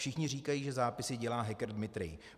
Všichni říkají, že zápisy dělá hacker Dmitrij.